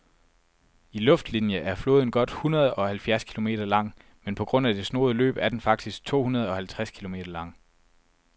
I luftlinie er floden godt hundredeoghalvfjerds kilometer lang, men på grund af det snoede løb er den faktisk tohundredeoghalvtreds kilometer lang.